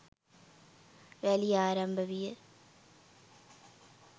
රැළිය ආරම්භ විය